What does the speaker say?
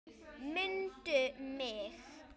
MUNDU MIG!